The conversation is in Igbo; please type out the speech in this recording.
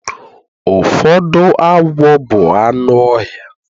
Ụfọdụ agwọ bụ anụ ọhịa